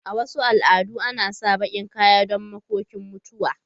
A Wasu al'adu ana sa bakin kaya don makokin mutuwa.